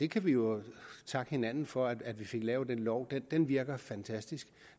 kan vi jo takke hinanden for at vi fik lavet den lov den virker fantastisk